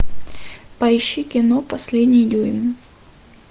поищи кино последний дюйм